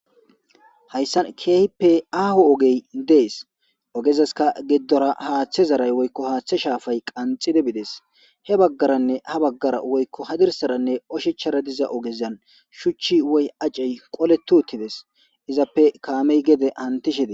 hayssan keehippe aaho ogey dees ogezaska giddora haaththe zaray woykko haaththe shaafay qanxide bides he baggaranne ha baggara woykko hadirsaranne oshechara diza ogezan shuchchi woy acey qole tuuttides izappe kaamey gede antishede